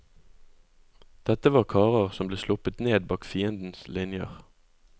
Dette var karer som ble sluppet ned bak fiendens linjer.